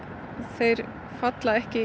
þeir falla ekki